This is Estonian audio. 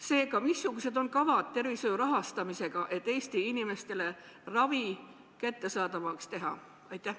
Seega, missugused on tervishoiu rahastamise kavad, et Eesti inimestele ravi kättesaadavaks teha?